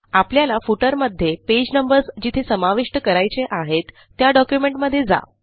आपल्याला फुटर मध्ये page numbers जिथे समाविष्ट करायचे आहेत त्या डॉक्युमेंट मधे जा